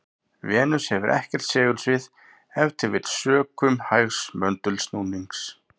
Venus hefur ekkert segulsvið, ef til vill sökum hægs möndulsnúnings.